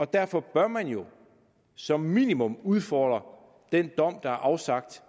derfor bør man jo som minimum udfordre præmisserne den dom der er afsagt